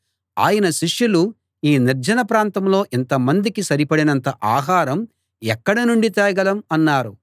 ఆయన శిష్యులు ఈ నిర్జన ప్రాంతంలో ఇంతమందికి సరిపడినంత ఆహారం ఎక్కడ నుండి తేగలం అన్నారు